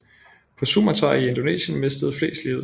På Sumatra i Indonesien mistede flest livet